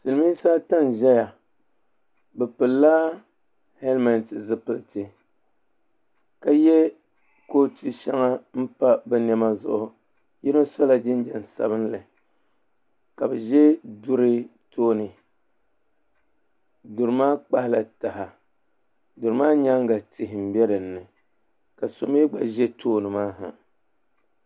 Silimiinsi ata n ʒɛya bɛ pilila hɛlimɛnti zupilti ka yɛ kootu shɛŋa m pa bɛ niɛma zuɣu yino sɔla jinjam sabinli ka bɛ ʒɛ duri tooni durI maa kpahila taha duri maa nyaanga tihi be din ni ka so mi gba ʒɛ tooni maa ha